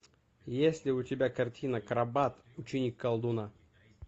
есть ли у тебя картина крабат ученик колдуна